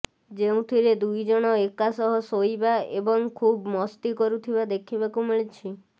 ଯେଉଁଥିରେ ଦୁଇଜଣ ଏକା ସହ ଶୋଇବା ଏବଂ ଖୁବ ମସ୍ତି କରୁଥିବା ଦେଖିବାକୁ ମିଳିଛି